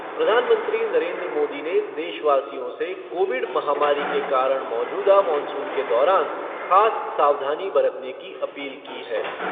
प्रधानमंत्री नरेन्द्र मोदी ने देशवासियों से कोविड महामारी के कारण मौजूदा मॉनसून के दौरान खास सावधानी बरतने की अपील की है।